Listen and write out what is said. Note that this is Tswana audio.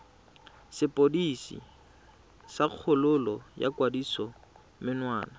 sepodisi sa kgololo ya kgatisomenwa